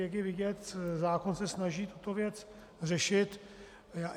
Jak je vidět, zákon se snaží tuto věc řešit.